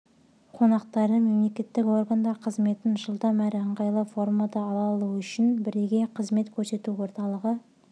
қонақтары мемлекеттік органдар қызметін жылдам әрі ыңғайлы формада ала алуы үшін бірегей қызмет көрсету орталығы